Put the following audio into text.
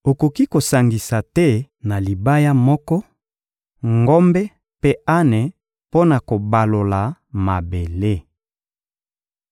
Okoki kosangisa te na libaya moko, ngombe mpe ane mpo na kobalola mabele.